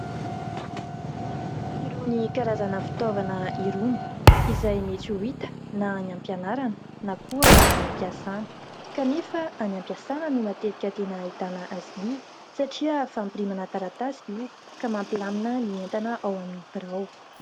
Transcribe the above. Irony karazana fitaovana irony, izay mety ho hita : na any am- pianarana na koa any am-piasana. Kanefa any am- piasana no matetika tena hahitana azy io, satria fampirimana taratasy io, ka mampilamina ny entana ao amin'ny birao.